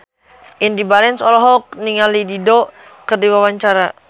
Indy Barens olohok ningali Dido keur diwawancara